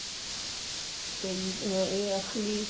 ਕਈ ah ਇਹ ਅਸ਼ਟਮੀ